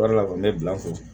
Wari la kɔni ne bila ko